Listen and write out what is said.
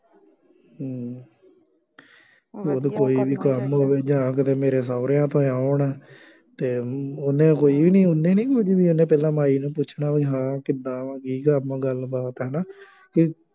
ਕੋਈ ਵੀ ਕੰਮ ਹੋਵੇ ਜਾਂ ਕਿਤੇ ਮੇਰੇ ਸਹੁਰਿਆਂ ਤੋਂ ਆਏ ਹੋਣ ਅਤੇ ਉਹਨੇ ਕੋਈ ਇਹ ਨਹੀਂ ਉਹਨੇ ਨਹੀਂ ਕੁੱਝ ਵੀ ਉਹਨੇ ਪਹਿਲਾਂ ਮਾਈ ਨੂੰ ਪੁੱਛਣਾ ਬਈ ਹਾਂ ਕਿਦਾਂ ਵਾਂ, ਕੀ ਕੰਮ ਵਾਂ, ਗੱਲ ਬਾਤ ਹੈ ਨਾ